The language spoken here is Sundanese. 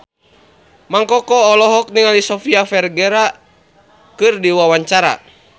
Mang Koko olohok ningali Sofia Vergara keur diwawancara